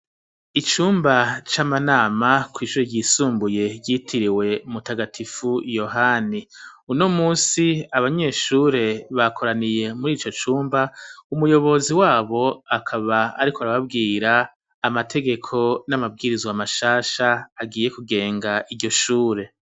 Icumba c'amanama kw'ishure ryisumbuye ryitiriwe mu tagatifu Yohani uno munsi abanyeshure bakoraniye murico cumba umuyobozi wabo akaba ariko arababwira amategeko n'amabwirizwa mashasha agiye ku genga iryo shure.